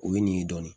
O ye nin ye dɔɔnin